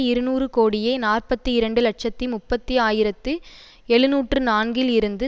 இருநூறு கோடியே நாற்பத்தி இரண்டு இலட்சத்தி முப்பதி ஆயிரத்தி எழுநூற்று நான்கில் இருந்து